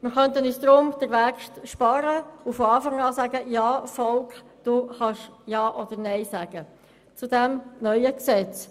Wir könnten uns deshalb den Weg sparen und von Anfang an sagen: «Volk, du kannst Ja oder Nein sagen zu diesem neuen Gesetz.